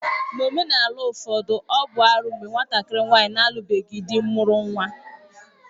N'omenala ụfọdụ, ọ bụ arụ mgbe nwatakịrị nwaanyị na-alubeghị dị mụrụ nwa